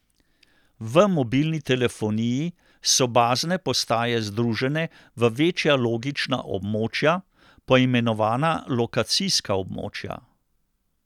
V mobilni telefoniji so bazne postaje združene v večja logična območja, poimenovana lokacijska območja.